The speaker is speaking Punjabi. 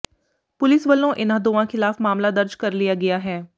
ਪੁਲਿਸ ਵੱਲੋਂ ਇਨ੍ਹਾਂ ਦੋਵਾਂ ਖਿਲਾਫ ਮਾਮਲਾ ਦਰਜ ਕਰ ਲਿਆ ਗਿਆ ਹੈ